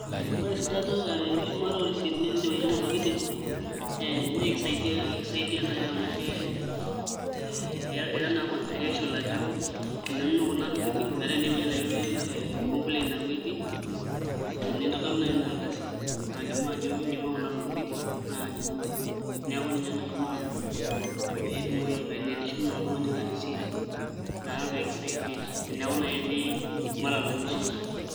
Ore esidano ee enkishumata ooresiitini indipa aiyiang'u ntokitin naa kakisaidia naai amu ee ira naa confidential ajo ininonok naa kuna tokitin metaa teneeuo ee complain aaku etii nintodolu naa ina ardasi nalimu ajo inyiang'ua kuna tokitin naa ininonok neeku kenyoki aajo pee eshum oltung'ani ena receipt naa pee kisaidia eneeku naai etii malalamishi.